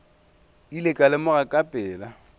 ile ka lemoga ka pela